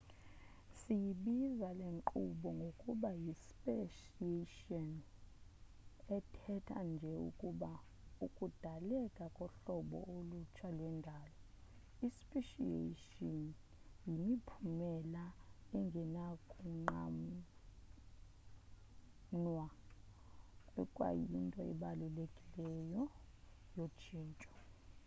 siyibiza lenkqubo ngokuba yi speciation ethetha nje ukuba ukudaleka kohlobo ulutsha lwendalo . ispeciation yimiphumela engenakunqanwa ekwayinto ebalulekileyo yotshintsho